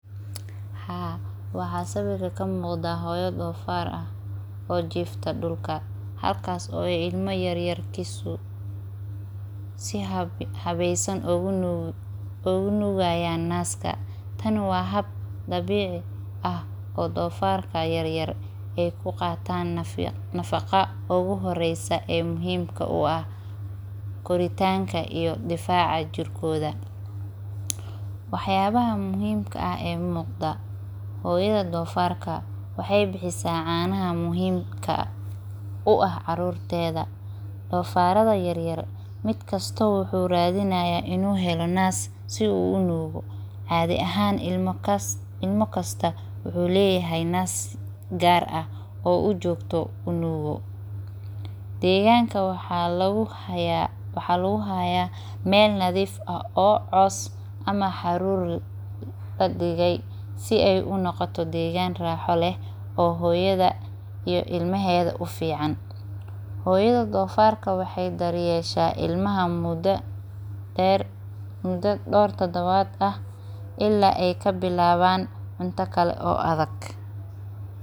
Aa waxaa sawirka kamuqdaa hoyo donfar ah oo jifta dulka halkas oo ilma si hawesan oga nugi hayo naska tan waa hab dabici ah oo dofarka yar yar ee ku qatan nafaqo yar yar donfarka ee muhiim u ah koritanka iyo difaca jirkodha waxyaba buhimka eh oo muqda hiyada donfarka waxe bixisa canaha muhiim u ah carurteda dofaraada yar yar mid kasto wuxu rawa in u helo nas si u unugu cadhi ahan cunug kasta wuxuu leyahay nas oo u nugo oo u jogto deganka waxaa lagu haya meel nadhif eh oo cos leh oo raxo leh si ee unoqoto hooyada ito ilmaheda ufican hoyada donfarka waxee daryesha ilmaha muda deer tadawaad ah ila ee kabilawan cunta kale oo adhag.